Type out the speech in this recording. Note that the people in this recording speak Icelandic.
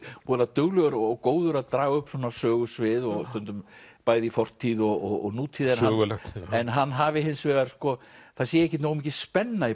duglegur og góður að draga upp svona sögusvið bæði í fortíð og nútíð en hann hafi hins vegar það sé ekki nógu mikil spenna í